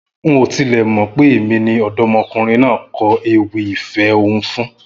N ò tilẹ̀ mọ̀ pé èmi ni ọ̀dọ́mọkùnrin náà kọ ewì ìfẹ́ ọ̀hún fún